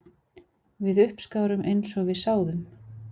Við uppskárum eins og við sáðum